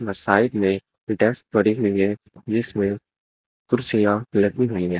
Side में desk पड़ी हुई है जिसमें कुर्सियां लगी हुई है।